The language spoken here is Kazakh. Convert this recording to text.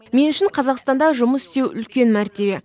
мен үшін қазақстанда жұмыс істеу үлкен мәртебе